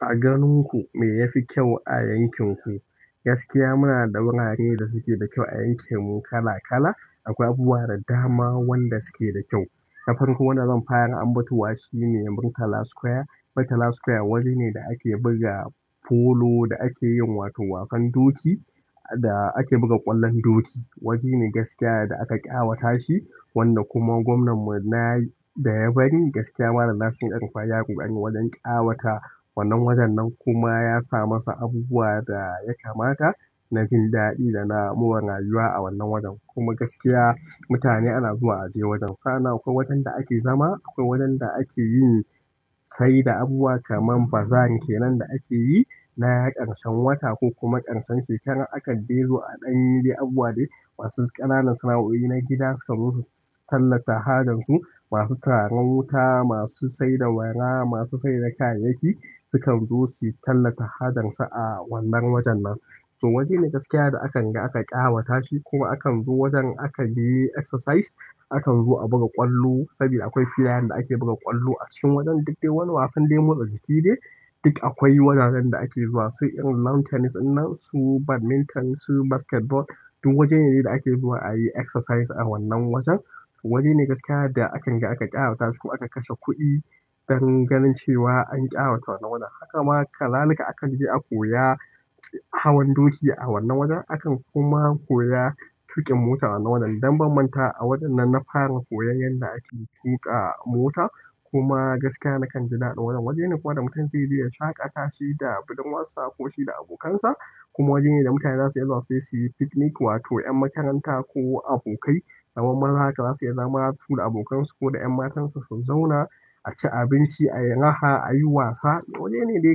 A ganin ku me ya fi kyau a yankin ku? Gaskiya muna da wurare da suke da kyau a yankin mu kala kala. Akwai abubuwa da dama wanda suke da kyau. Na farko wanda zan fara ambatowa shine Murtala Square. Murtala Square wurine da ake buga polo da ake yin wato wasan doki da ake buga ƙwallon doki. Wajene wanda gaskiya da aka ƙawatashi, wanda kuma gwamnanmu ɗaya bari gaskiya malan Nasiru el-rufai yayi ƙoƙari wajen ƙawata wannan wajen sannan kuma ya sa masa abubuwa ɗaya kamata na jin daɗi da na mure rayuwa a wannan wajen. Kuma gaskiya mutane ana zuwa a je wajen. Sana akwai wajen da ake zama, akwai wajen da ake yi. Saida abubuwa kaman bazaar kenan da ake yi na ƙarshen wata ko kuma ƙarshen shekara. Akan de zo a ɗan yi dai abubuwa dai masu ƙananan sana'o'i na gida su ka zo su tallata hajan su. Masu turaren wuta, masu saida wara, masu saida kayayyaki sukan zo su tallata hajan su a wannan wajen nan. To waje ne gaskiya da akan ga aka ƙawata shi ko akan zo wajen aka yi exercise, akan zo a buga ƙwallo, saboda akwai filayen da ake buga ƙwallo a cikin wajen. Duk dai wani wasan dai motsa jiki dai, duk akwai wuraren da ake zuwa. Su irin land tennis ɗinnan, su badminton, su basketball, duk wajene dai da ake zuwa ayi exercise a wannan wajen waje ne gaskiya da akan ga aka ƙawata shi kuma aka kashe kuɗi don ganin cewa an ƙawata wannan wajen. Haka ma kazalika aka je a koya hawan doki a wannan wajen. Akan kuma koya tuƙin mota wannan wajen. Dan ban mantawa a wajen nan na fara koyon yadda ake tuƙa mota. Kuma gaskiya na kan ji daɗi wannan wajen. Waje ne kuma da mutum zai je ya shaƙata shi da ɓirdurwassa ko shi da abokansa. Kuma wajene da mutane zasu iya zuwa suyi pick nick, wato ƴan makaranta ko abokai kaman maza haka, zasu iya zama haka suda abokansu ko ƴan matansu a ci abinci, a yi raha, a yi wasa. Waje ne dai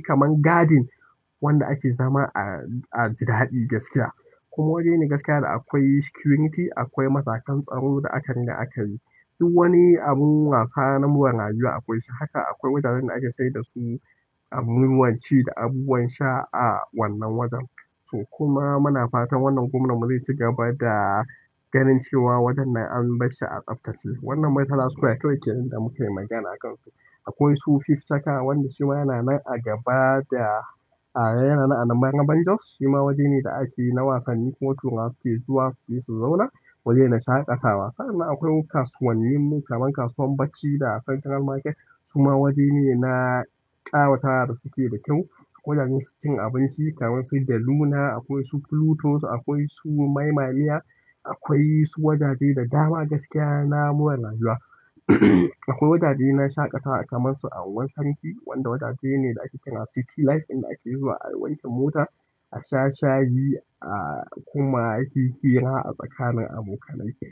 kaman garden wanda ake zama a ji daɗi gaskiya. Kuma waje ne gaskiya da akwai security, akwai matakan tsaro da aka rina aka yi. Duk wani abun wasa na more rayuwa akwai shi. Haka akwai wajajen da ake saida su abubuwan ci da abubuwan sha a wannan wajen. To kuma muna fatan wannan gwamnan mu zai ci gaba da ganin cewa wajennan an bar shi a tsaftace. Wannan Murtala square kawai kenan da mukai magana akans akwai su Fifth checker wanda shi ma yana nan a gaba da, a yana nan a nan maraban Jos. Shi ma waje ne da ake yi na wasanni kuma turawa suke zuwa suje su zauna. Waje na shaƙatawa. Sannan akwai kasuwannin mu kaman kasuwan Bacci da Central Market. Su ma waje ne na ƙawata da suke da kyau. Wajajen cin abinci, kamansu Deluna, akwai su Pluto akwai su maimalia akwai su wajaje da daman na more rayuwa akwai wajaje na shaƙatawa kamar su a unguwar sarki wanda waje ne da ake kira city life, inda ake zuwa a wanke mota, a sha shayi, a kuma yi hira a tsakanin abokanai ke.